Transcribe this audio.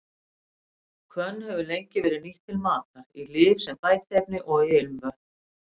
Hvönn hefur lengi verið nýtt til matar, í lyf, sem bætiefni og í ilmvötn.